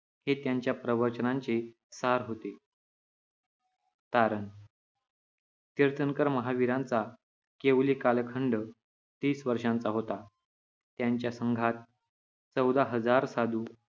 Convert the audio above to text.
हे त्यांच्या प्रवचनांचे सार होते. तारण तीर्थंकर महावीरांचा केवली कालखंड तीस वर्षांचा होता. त्यांच्या संघात चौदा हजार साधू,